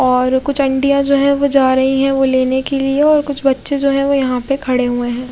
और कुछ आंटियां जो है वो जा रही है वो लेने के लिए और कुछ बच्चे जो है वो यहाँ पे खड़े हुए हैं।